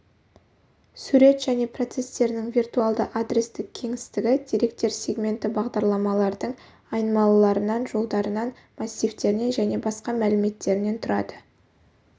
сурет және процестерінің виртуалды адрестік кеңістігі деректер сегменті бағдарламалардың айнымалаларынан жолдарынан массивтерінен және басқа мәліметтерінен тұрады